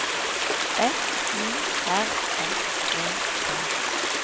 F U R S E T